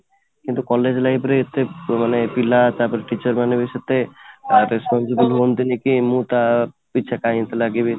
କିନ୍ତୁ college life ରେ ଏତେ ମାନେ ପିଲା ତାପରେ teacher ମାନେ ବି ସେତେ responsibility ନିଅଁନ୍ତିନି କି ମୁଁ ତା କାହିଁକି ଲାଗିବି ?